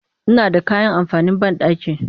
Ina da kayan amfanin banɗaki